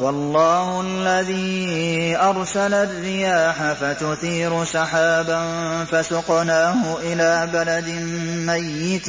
وَاللَّهُ الَّذِي أَرْسَلَ الرِّيَاحَ فَتُثِيرُ سَحَابًا فَسُقْنَاهُ إِلَىٰ بَلَدٍ مَّيِّتٍ